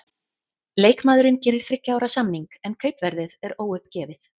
Leikmaðurinn gerir þriggja ára samning, en kaupverðið er óuppgefið.